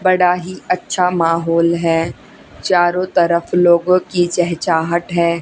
बड़ा ही अच्छा माहौल है चारो तरफ लोगों की चहचहाट है।